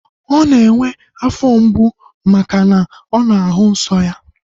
Ọ na-enwe afọ mgbu maka na ọ na-ahụ nsọ ya